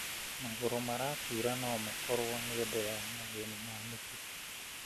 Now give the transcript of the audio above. Magũrũ maratuura no makorwo nĩ ũndũ wa mathĩna ma mĩkiha.